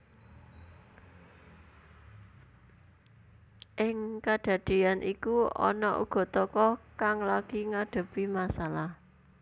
Ing kadadéyan iku ana uga tokoh kang lagi ngadhepi masalah